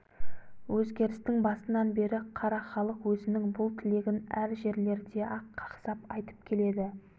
өзгерістің басынан бері қара халық өзінің бұл тілегін әр жерлерде-ақ қақсап айтып келеді